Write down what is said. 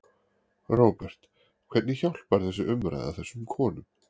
Róbert: Hvernig hjálpar þessi umræða þessum konum?